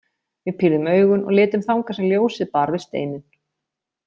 Við pírðum augun og litum þangað sem ljósið bar við steininn.